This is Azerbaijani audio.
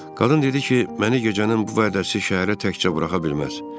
Qadın dedi ki, məni gecənin bu vədəsi şəhərə təkcə buraxa bilməz.